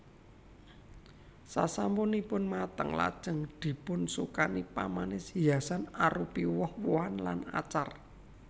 Sasampunipun mateng lajeng dipunsukani pamanis hiasan arupi woh wohan lan acar